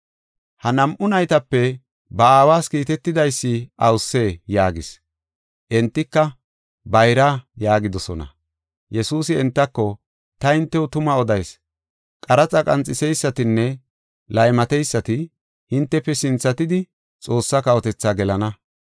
Ha nam7u naytape ba aawas kiitetidaysi awusee?” yaagis. Entika, “Bayra” yaagidosona. Yesuusi entako, “Ta hintew tuma odayis; qaraxa qanxiseysatinne laymateysati hintefe sinthatidi Xoossaa kawotethaa gelana.